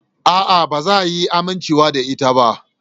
A'a, ba za a iya amincewa da ita ba.